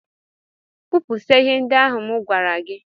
Kpụpụsịa ihe ndị ahụ m gwara gi